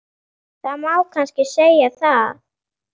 Það má kannski segja það.